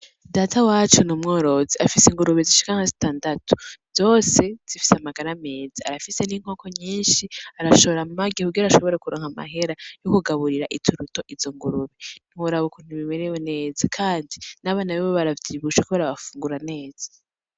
Data wacu n’umworozi afise ingurube zishika nka zitandatu zose zifise amagara meza , arafise n’inkoko nyinshi arashora amagi kugira ashobore kuronka amahera yo kugaburira izo ngurube, ntiworaba ukuntu bimerewe neza Kandi n’abana biwe baravyibushe kubera barafungura neza.